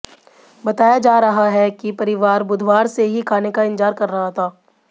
बताया जा रहा है कि परिवार बुधवार से ही खाने का इंतजार कर रहा था